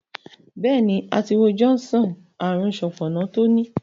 béèni, a ti wo John sàn ààrùn Sopona to ni.